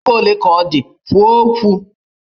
Ego ole ka ọ dị? Kwuo okwu!